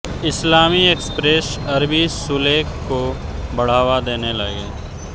इस्लामी express अरबी सुलेख को बढ़ावा देने लगे